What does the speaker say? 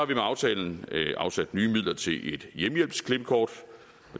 vi med aftalen afsat nye midler til et hjemmehjælpsklippekort